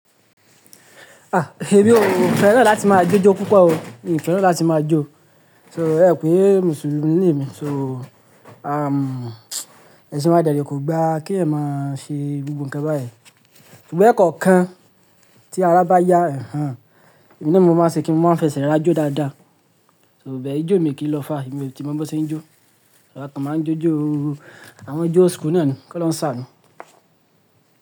Ah! Èmi ò fẹ́ràn láti máa jó jó púpọ̀ o, èmi fẹ́ràn láti máa jó. So ẹ pé Mùsùlùmí ni èmi, so à, ẹṣin wa dẹ̀dẹ̀ kò gba kí ẹ máa ṣe gbogbo nǹkan báyìí. Ṣùgbọ́n ẹ̀kọ́ kan tí ara bá yá, ẹ n há, èmi ni mo máa ṣe kí wọn máa fẹsẹ̀ ra jó dáadáa. So bẹ́ẹ̀ yóò jó mi kí lọ fá, èmi tí mo mọ́ ṣe ń jó. Ọ̀rẹ́ kan máa ń jó jó, àwọn jó school náà ni, kí ó lọ sá ni.